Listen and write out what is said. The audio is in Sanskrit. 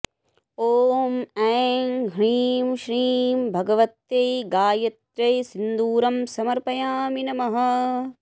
ॐ ऐं ह्रीं श्रीं भगवत्यै गायत्र्यै सिन्दूरं समर्पयामि नमः